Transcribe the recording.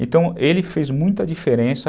Então, ele fez muita diferença.